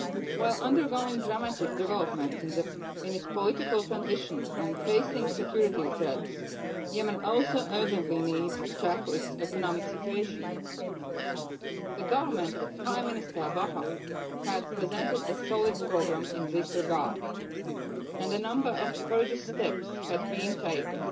While undergoing dramatic developments in its political transition and facing security threats, Yemen also urgently needs to tackle its economic situation. The government of Prime Minister Bahah had presented a solid programme in this regard, and a number of courageous steps had been taken